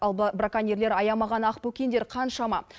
ал браконьерлер аямаған ақбөкендер қаншама